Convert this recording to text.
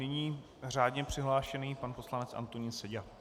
Nyní řádně přihlášený pan poslanec Antonín Seďa.